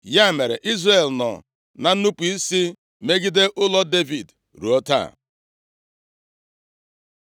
Ya mere, Izrel nọ na nnupu isi megide ụlọ Devid ruo taa.